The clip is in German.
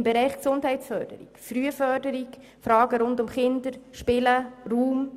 Im Bereich Gesundheitsförderung, Frühförderung, Fragen rund um Kinder, Spielen und Raum